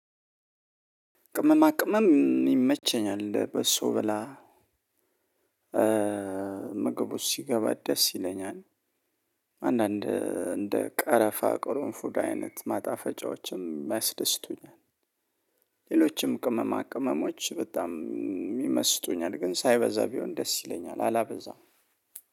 ቅመማ ቅመም ይመቸኛል በሰው ብላ ምግቦች ሲገባ ደስ ይለኛል። አንዳንድ እንደ ቀረፋ ቆሮን ፉድ አይነት ማጣፈጫዎችም ያስደስቱኛል። ሌሎችም ቅመማ ቅመሞች በጣም ይመስጡኛል ግን ሳይበዛ ቢሆን ደስ ይለኛል አላበዛም።